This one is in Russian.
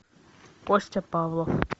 костя павлов